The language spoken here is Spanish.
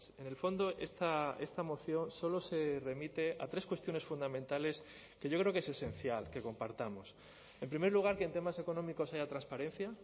en el fondo esta moción solo se remite a tres cuestiones fundamentales que yo creo que es esencial que compartamos en primer lugar que en temas económicos haya transparencia